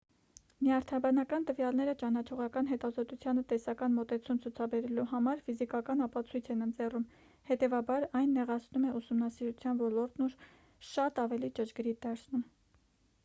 նյարդաբանական տվյալները ճանաչողական հետազոտությանը տեսական մոտեցում ցուցաբերելու համար ֆիզիկական ապացույց են ընձեռում հետևաբար այն նեղացնում է ուսումնասիրության ոլորտն ու շատ ավելի ճշգրիտ դարձնում